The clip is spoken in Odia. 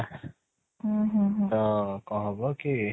ତ କ'ଣ ହବ କି